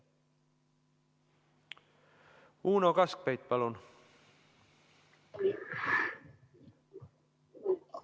Uno Kaskpeit, palun!